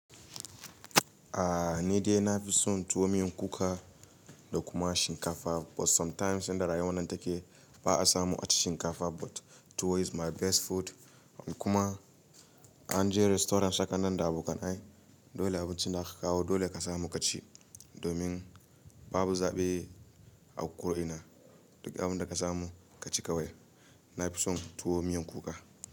A ni dai na fi son tuwo miyan kuka da kuma shinkafa. But sometimes yadda rayuwar nan take ba a samu a ci shinkafa ba. But tuwo is my best food. Kuma an je restaurant hakan nan da abokan nai. Dole abincin da aka kawo dole ka samu ka ci. Domin babu zaɓi a ku ina duk abinda ka samu ka ci kawai. Na fi son tuwo miyan kuka.